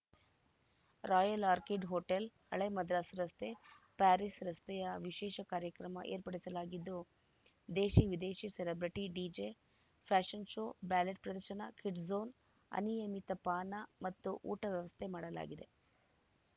royal Orchid Hotel ಹಳೇ ಮದ್ರಾಸ್ ರಸ್ತೆ Paris ರಸ್ತೆಯ ವಿಶೇಷ ಕಾರ್ಯಕ್ರಮ ಏರ್ಪಡಿಸಲಾಗಿದ್ದು ದೇಶಿ ವಿದೇಶಿ celebrity DJ fashion show ballet ಪ್ರದರ್ಶನ ಕಿಡ್ಸ್‌ ಝೋನ್‌ ಅನಿಯಮಿತ ಪಾನ ಮತ್ತು ಊಟ ವ್ಯವಸ್ಥೆ ಮಾಡಲಾಗಿದೆ